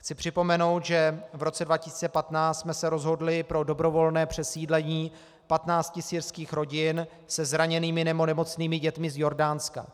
Chci připomenout, že v roce 2015 jsme se rozhodli pro dobrovolné přesídlení 15 syrských rodin se zraněnými nebo nemocnými dětmi z Jordánska.